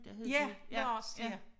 Ja Lars ja